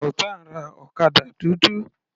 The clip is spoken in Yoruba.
Sultan ra ọ̀kadà dúdú.